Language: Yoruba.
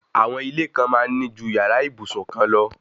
Àwọn ilé kan máa ń ní ju yàrá ìbùsùn kan lọ